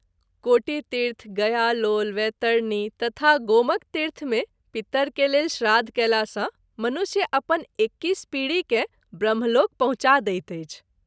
कोटितीर्थ, गयालोल, वैतरणी तथा गोमकतीर्थ मे पितर के लेल श्राद्ध कएला सँ मनुष्य अपन एक्कीस पीढी के ब्रह्मलोक पहुँचा दैत अछि।